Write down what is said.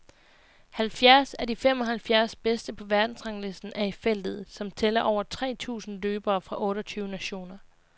Halvfjerds af de fem og halvfjerds bedste på verdensranglisten er i feltet, som tæller over tre tusind løbere fra otte og tyve nationer.